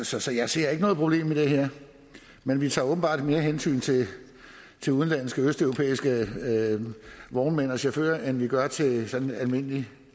så så jeg ser ikke noget problem i det her men vi tager åbenbart mere hensyn til udenlandske østeuropæiske vognmænd og chauffører end vi gør til sådan almindelige